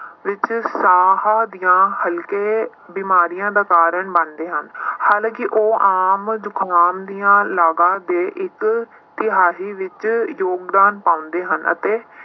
ਵਿੱਚ ਸਾਹ ਦੀਆਂ ਹਲਕੇ ਬਿਮਾਰੀਆਂ ਦਾ ਕਾਰਨ ਬਣਦੇ ਹਨ ਹਾਲਾਂਕਿ ਉਹ ਆਮ ਜੁਕਾਮ ਦੀਆਂ ਲਗਾਂ ਦੇ ਇੱਕ ਤਿਹਾਈ ਵਿੱਚ ਯੋਗਦਾਨ ਪਾਉਂਦੇ ਹਨ ਅਤੇ